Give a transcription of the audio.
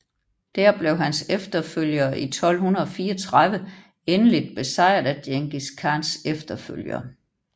Dér blev hans efterfølgere i 1234 endeligt besejret af Djengis Khans efterfølgere